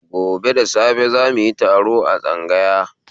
Gobe da safe zamuyi taro a tsangaya